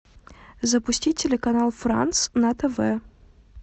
запусти телеканал франс на тв